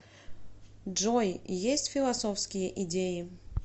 джой есть философские идеи